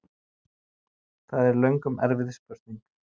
Það er löngum erfið spurning!